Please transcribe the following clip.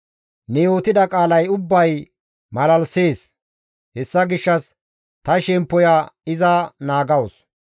Ne yootida qaalay ubbay malalisees; hessa gishshas ta shemppoya iza naagawus.